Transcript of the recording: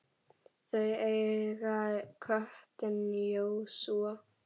Þau eiga köttinn Jósúa.